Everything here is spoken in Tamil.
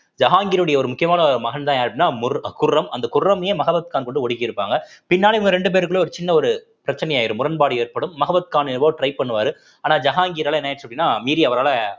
ஜஹாங்கீருடைய ஒரு முக்கியமான மகன்தான் யாரு அப்படின்னா முர்~ குர்ரம் அந்த குர்ரம்யே மஹபத் கான்ன கொண்டு ஒடுக்கிருப்பாங்க பின்னால இவங்க ரெண்டு பேருக்குள்ள ஒரு சின்ன ஒரு பிரச்னை ஆயிரும் முரண்பாடு ஏற்படும் மஹபத் கான் எவ்ளோ try பண்ணுவாரு ஆனா ஜஹான்கீரால என்ன ஆயிடுச்சு அப்படீன்னா மீறி அவரால